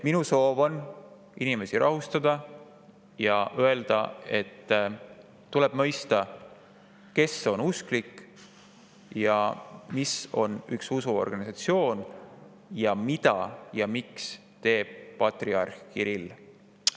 Minu soov on inimesi rahustada ja öelda, et tuleb mõista, kes on usklik ja mis on üks usuorganisatsioon ja mida ja miks teeb patriarh Kirill.